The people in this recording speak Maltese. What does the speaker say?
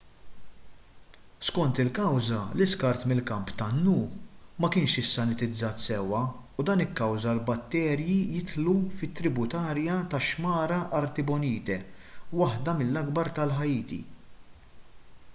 skont il-kawża l-iskart mill-kamp tan-nu ma kienx issanitizzat sewwa u dan ikkawża li l-batterji jidħlu fit-tributarja tax-xmara artibonite waħda mill-akbar ta' ħaiti